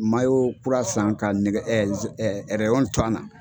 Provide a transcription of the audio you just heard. kura san ka nɛgɛ to an na.